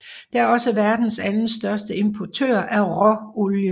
Det er også verdens anden største importør af råolie